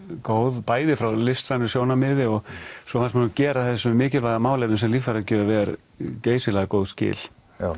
góð bæði frá listrænu sjónarmiði og svo fannst mér gera þessu mikilvæga málefni sem líffæragjöf er geysilega góð skil